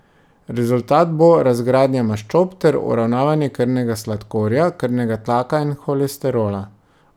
Rezultat bo razgradnja maščob ter uravnavanje krvnega sladkorja, krvnega tlaka in holesterola.